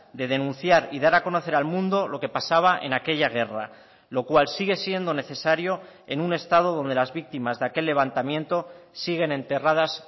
de denunciar y dar a conocer al mundo lo que pasaba en aquella guerra lo cual sigue siendo necesario en un estado donde las víctimas de aquel levantamiento siguen enterradas